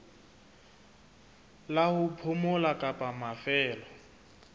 la ho phomola kapa mafelo